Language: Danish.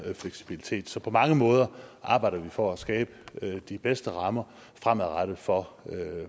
fleksibilitet så på mange måder arbejder vi for at skabe de bedste rammer fremadrettet for